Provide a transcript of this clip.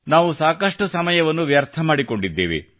ನಾವು ಸಾಕಷ್ಟು ಸಮಯವನ್ನು ವ್ಯರ್ಥ ಮಾಡಿಕೊಂಡಿದ್ದೇವೆ